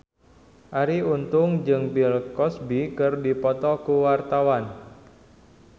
Arie Untung jeung Bill Cosby keur dipoto ku wartawan